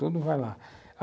Tudo vai lá.